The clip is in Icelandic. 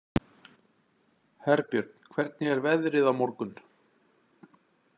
Herbjörn, hvernig er veðrið á morgun?